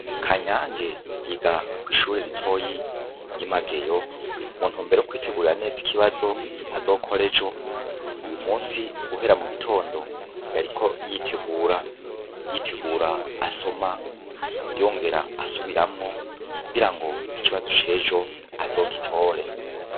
Kanyange yiga kw'ishure ritoyi ry'i Mageyo mu ntumbero yo kwitegurira neza ikibazo azokora ejo uyu musi guhera mu gitondo yariko yitegura, yitegura asoma, yongera asubiramwo kugira ngo ikibazo c'ejo azogitore.